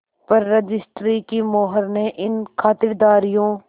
पर रजिस्ट्री की मोहर ने इन खातिरदारियों